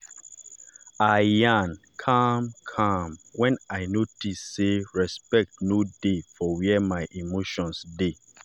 i yarn calm-calm when i notice sey respect no dey for where my emotions dey.